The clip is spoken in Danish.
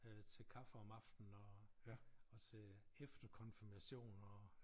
Øh til kaffe om aftenen og og til efterkonfirmation og